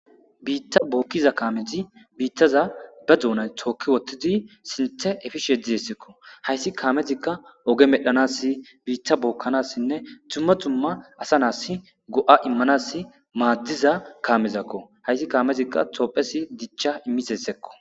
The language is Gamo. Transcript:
biitta bookkiza kaameti biittaza ba duunay tookki wottidi sinthe efisheeddizessekko hayssi kaamezikka oge medhanassi biitta bookkanassinne tumma tumma asa naas go7a immanas maaddiza kaamezakko hayssi kaamezikka tophesi dicha immisessekko